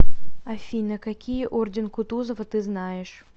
афина какие орден кутузова ты знаешь